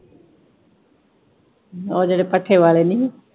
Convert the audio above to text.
ਉਹ ਜਿਹੜੇ ਭੱਠੇ ਵਾਲੇ ਨੀ ਹੀਂ?